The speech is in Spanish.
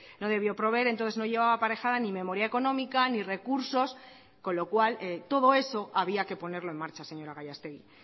no debió proveer entonces no llevaba aparejada ni memoria económica ni recursos con lo cual todo eso había que ponerlo en marcha señora gallastegui